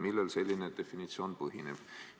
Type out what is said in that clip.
Millel selline definitsioon põhineb?